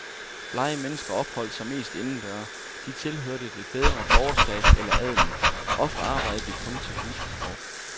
Blege mennesker opholdt sig mest indendøre, de tilhørte det bedre borgerskab eller adelen, ofte arbejdede de kun til husbehov.